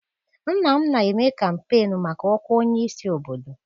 Nna m na-eme kampeenu maka ọkwa onye isi obodo.